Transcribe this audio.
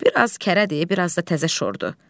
Bir az kərədir, bir az da təzə şordur.